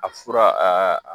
A fura aa